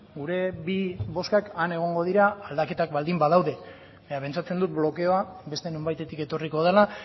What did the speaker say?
gure bi bozkak han egongo dira aldaketak baldin badaude baina pentsatzen dut blokeoa beste nonbaitetik etorriko dela